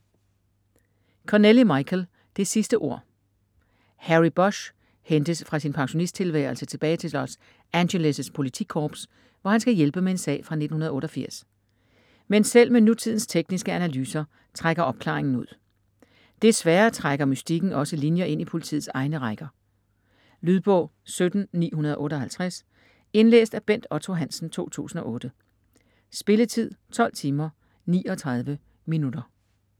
Connelly, Michael: Det sidste ord Harry Bosch hentes fra sin pensionisttilværelse tilbage til Los Angeles' politikorps, hvor han skal hjælpe med en sag fra 1988. Men selv med nutidens tekniske analyser trækker opklaringen ud. Desværre trækker mystikken også linjer ind i politiets egne rækker. Lydbog 17958 Indlæst af Bent Otto Hansen, 2008. Spilletid: 12 timer, 39 minutter.